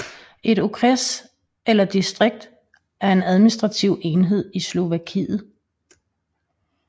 Et okres eller distrikt er en administrativ enhed i Slovakiet